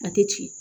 A tɛ ci